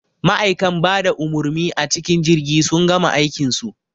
Ma'aikan bada umurmi a cikin jirgi sun gama aikin su